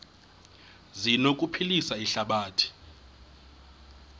zi anokuphilisa ihlabathi